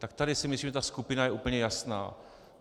Tak tady si myslím, že ta skupina je úplně jasná.